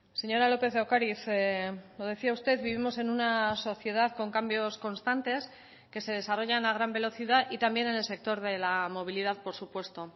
señora lópez de ocariz lo decía usted vivimos en una sociedad con cambios constantes que se desarrollan a gran velocidad y también en el sector de la movilidad por supuesto